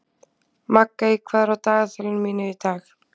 Maggey, hvað er á dagatalinu mínu í dag?